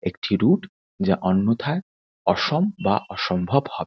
একটি রুট যা অন্যথায় অসম বা অসম্ভব হবে।